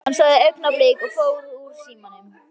Hann sagði augnablik og fór úr símanum.